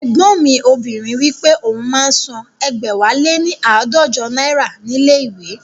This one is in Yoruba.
Ẹ̀gbọ́n mi obìnrin wípé òun máa ń san ẹgbẹ̀wáléní aadọjọ náírà ní ilé ìwé